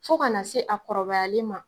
Fo ka na se a kɔrɔbayalen ma